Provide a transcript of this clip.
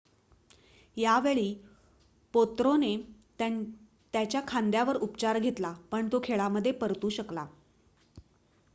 यावेळी पोत्रोने त्याच्या खांद्यावर उपचार घेतला पण तो खेळामध्ये परतू शकला